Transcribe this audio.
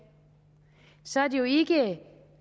så er det jo ikke